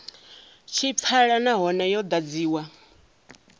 tshi pfala nahone yo ḓadziwa